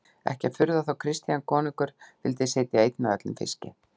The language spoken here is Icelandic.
Ekki að furða þótt Christian konungur vildi sitja einn að öllum fiski.